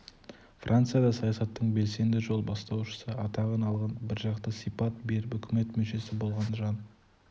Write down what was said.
францияда саясаттың белсенді жол бастаушысы атағын алған біржақты сипат беріп үкімет мүшесі болған жан